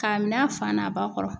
K'a minɛ a fan n'a ba kɔrɔ.